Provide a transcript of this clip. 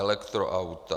Elektroauta.